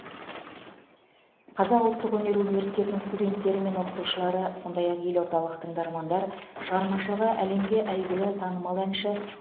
қазақ ұлттық өнер университетінің студенттері мен оқытушылары сондай ақ елордалық тыңдармандар шығармашылығы әлемге әйгілі танымал әнші